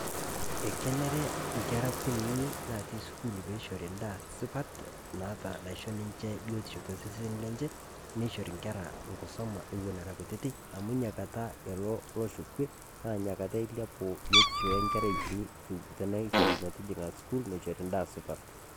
Ekeneree nkera nkunini natii sukuul peishori daa sipaat naata naishoo ninchee biotisho te sesen lenchee. Neishori nkerra nkisoma ewuen era nkutiti amu nia nkaata eloo loosho kwee naa enia kaata eilaapu biotisho enkerrai nkitii teneishore meeting'a sukuul neishori ndaa supaat.